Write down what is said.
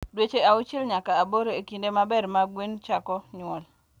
Dweche auchiel nyaka aboro e kinde maber ma gwen chako nyuol.